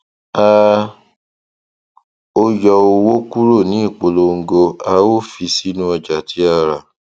a ó yọ owó kúrò ní ìpolongo a ó fi sínu ọjà tí a rà